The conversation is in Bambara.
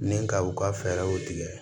Ni ka u ka fɛɛrɛw tigɛ